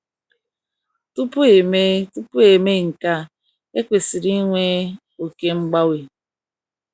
Tupu e mee Tupu e mee nke a, ekwesiri ịnwe oké mgbanwe.